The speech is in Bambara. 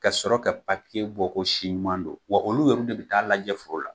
Ka sɔrɔ ka papiye bɔ ko si ɲuman do wa olu yɛrɛ de bi ta'a lajɛ foro la